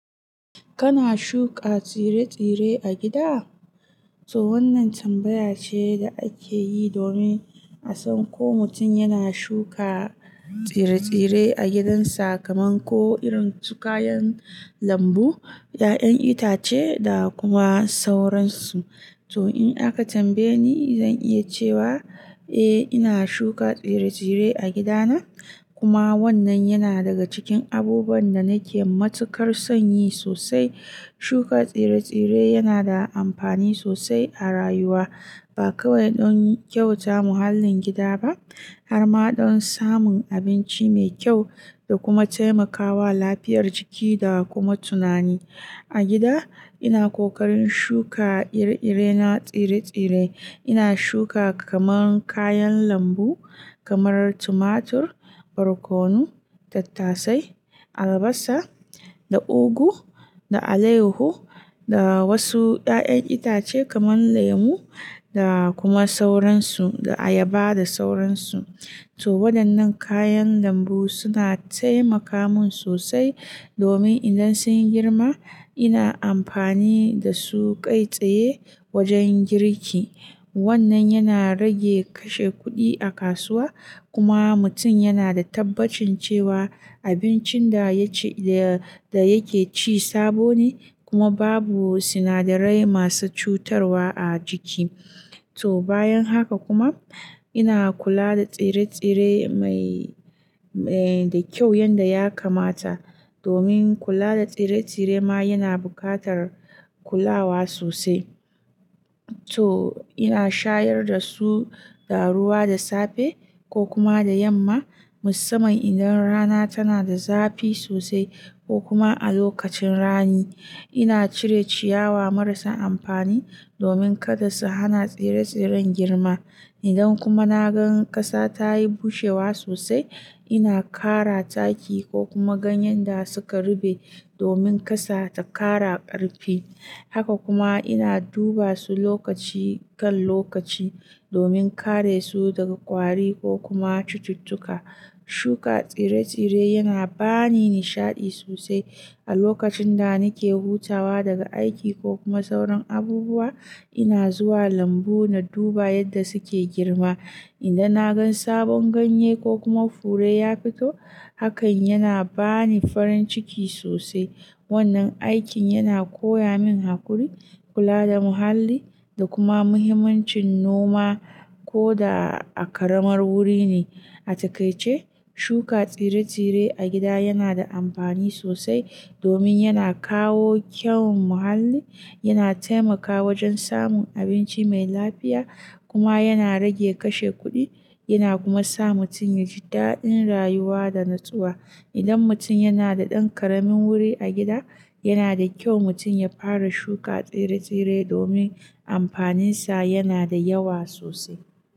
Kana shuka tsire-tsire a gida? To wannan tambaya ce da ake yi domin a san ko mutum yana shuka tsire-tsire a gidansa kamar ko irin su kayan lambu, ƴaƴan itace da kuma sauransu. To in aka tambaye ni zan iya cewa eh ina shuka tsire-tsire a gidana, kuma wannan yana daga cikin abubuwan da nake matukar son yi sosai. Shuka tsire-tsire yana da amfani sosai a rayuwa. Ba kawai don kyauta muhallin gida ba har ma don samun abinci mai kyau da kuma taimakawa lafiyar jiki da kuma tunani. A gida ina ƙoƙarin shuka ire-irena tsire-tsire. Ina shuka kamar kayan lambu kamar tumatur, barkono, tattasai, albasa, da ugu, da alehu, da wasu ƴaƴan itace kamar lemu da kuma sauransu da ayaba da sauransu. To waɗannan kayan lambu suna taimaka mun sosai domin idan sun yi girma ina amfani da su kai tsaye wajen girki. Wannan yana rage kashe kuɗi a kasuwa kuma mutum yana da tabbacin cewa abincin da ya ci-- da, da yake ci sabo ne kuma babu sinadarai masu cutarwa a ciki. To bayan haka kuma ina kula da tsire-tsire mai, eh, da kyau yadda ya kamata domin kula da tsire-tsire ma yana buƙatar kulawa sosai. To ina shayar da su da ruwa da safe ko kuma da yamma musamman idan rana tana da zafi sosai ko kuma a lokacin rani. Ina cire ciyawa marasa amfani domin kada su hana tsire-tsiren girma. Idan kuma na gan ƙasa ta yi bushewa sosai ina ƙara taki ko kuma ganyen da suka ruɓe domin ƙasa ta ƙara ƙarfi. Haka kuma ina duba su lokaci kan lokaci domin kare su daga ƙwari ko kuma cututtuka. Shuka tsire-tsire yana ba ni nishaɗi sosai. A lokacin da nake hutawa daga aiki ko kuma sauran abubuwa ina zuwa lambu na duba yadda suke girma. Idan na gan sabon ganye ko kuma fure ya fito hakan yana ba ni farin ciki sosai. Wannan aikin yana koya min haƙuri, kula da muhalli da kuma muhimmancin noma ko da a ƙaramar wuri ne. A takaice shuka tsire-tsire a gida yana da amfani sosai domin yana kawo kyawun muhalli, yana taimakawa wajen samun abinci mai lafiya kuma yana rage kashe kuɗi yana kuma sa mutum ya ji daɗin rayuwa da natsuwa. Idan mutum yana da ɗan ƙaramin wuri a gida yana da kyau mutum ya fara shuka tsire-tsire domin amfaninsa yana da yawa sosai.